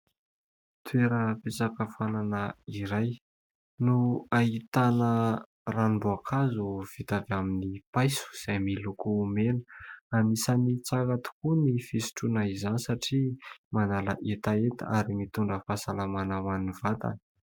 Toeram-pisakafoanana iray no ahitana ranomboakazo vita avy amin'ny paiso izay miloko mena. Anisany tsara tokoa ny fisotroana izany satria manala hetaheta ary mitondra fahasalamana ho an'ny vatana.